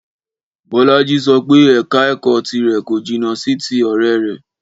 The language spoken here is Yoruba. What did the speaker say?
Bọ́lájí sọ pé ẹ̀ka ẹ̀kọ́ tìrẹ̀ kò jìnà sì ti ọ̀rẹ́ rẹ̀